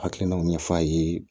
Hakilinaw ɲɛf'a ye